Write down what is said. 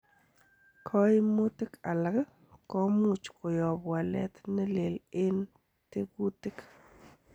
Koimutik alak komuch koyob walet ne leel en tekutik.